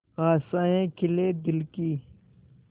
आशाएं खिले दिल की